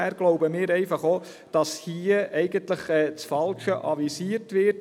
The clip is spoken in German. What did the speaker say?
Wir glauben, dass hier das Falsche avisiert wird.